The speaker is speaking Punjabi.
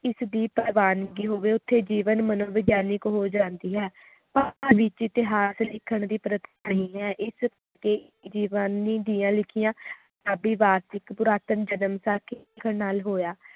ਇਸ ਦੀ ਪ੍ਰਵੱਸਣਗੀ ਹੋਵੇ ਓਥੇ ਜੀਵਨ ਮਨੋਵਿਗਿਆਨਿਕ ਹੋ ਜਾਂਦੀ ਹੈ ਵਿਚ ਇਤਿਹਾਸ ਲਿਖਣ ਦੀ ਪ੍ਰਥਾ ਨਹੀਂ ਹੈ ਇਸ ਦੀਆਂ ਲਿਖੀਆਂ ਦੇ ਵਾਰਸ਼ਿਕ ਪੁਰਾਤਨ ਲਿਖਣ ਨਾਲ ਹੋਇਆ